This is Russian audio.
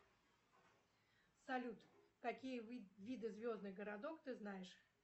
салют какие виды звездных городов ты знаешь